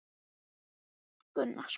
Sigurgestur, mun rigna í dag?